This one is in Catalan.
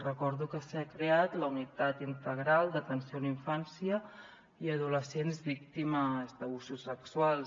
recordo que s’ha creat la unitat integral d’atenció a la infància i adolescents víctimes d’abusos sexuals